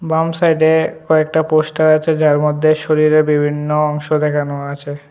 বাম সাইডে কয়েকটা পোস্টার আছে যার মধ্যে শরীরের বিভিন্ন অংশ দেখানো আছে।